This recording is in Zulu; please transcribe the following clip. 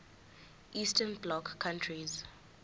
eastern bloc countries